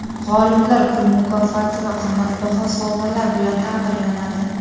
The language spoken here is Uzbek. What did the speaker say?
G‘oliblar pul mukofoti va qimmatbaho sovg‘alar bilan taqdirlanadi.